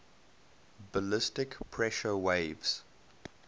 ballistic pressure waves